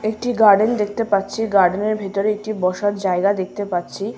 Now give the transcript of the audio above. একটি গার্ডেন দেখতে পাচ্ছি গার্ডেন -এর ভিতরে একটি বসার জায়গা দেখতে পাচ্ছি ।